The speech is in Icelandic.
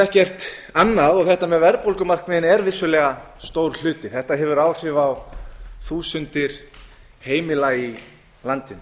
ekkert annað og þetta með verðbólgumarkmiðin er vissulega stór hluti þetta hefur áhrif á þúsundir heimila í landinu